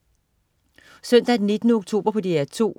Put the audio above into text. Søndag den 19. oktober - DR 2: